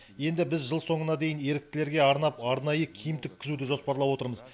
енді біз жыл соңына дейін еріктілерге арнап арнайы киім тіккізуді жоспарлап отырмыз